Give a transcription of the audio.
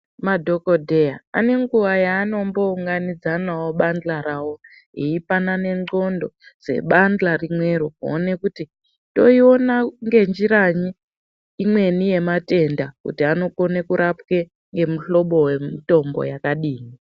Madhokodheya anenguwa yanombounganidzanawo pabanhla rawo veipanana ngonxo dzebanhla rimwero kuti toiona ngenjira imweni imwe yematenda kuti anokona kurapwe nemihlobo yemitombo yakadini.